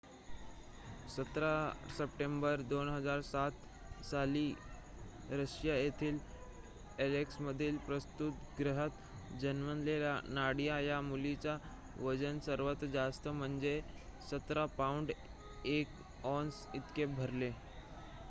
१७ September २००७ साली Russia येथील अॅलेक्समधील प्रसूतिगृहात जन्मलेल्या नाडिया या मुलीचे वजन सर्वात जास्त म्हणजे १७ पाउंड १ औंस इतके भरले